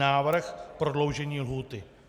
Návrh: prodloužení lhůty.